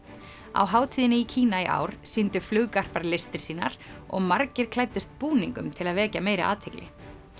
á hátíðinni í Kína í ár sýndu listir sínar og margir klæddust búningum til að vekja meiri athygli